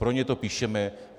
Pro ně to píšeme.